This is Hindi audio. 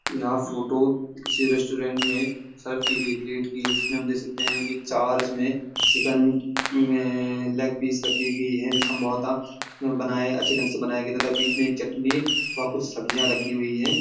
यह फोटो किसी रेस्टोरेंट में सर्व कि गई प्लेट की है जिसमें हम देख सकते हैं कि चार इसमें चिकेन लेगपीस रखी गी गयी है जो संभवत बनाए अच्छे ढंग से बनाए गए तथा बीच में एक चटनी व कुछ सब्जियां रखी हैं।